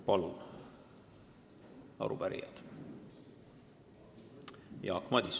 Palun, arupärijad!